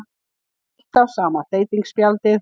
Alltaf sama þeytispjaldið.